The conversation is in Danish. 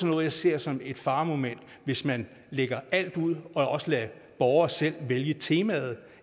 noget jeg ser som et faremoment hvis man lægger alt ud og også lader borgere selv vælge temaet